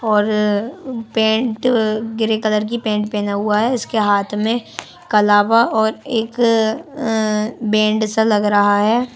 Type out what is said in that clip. और pant grey colour की pant पहना हुआ है उसके हाथ में कलावा और एक अ बेंड सा लग रहा है।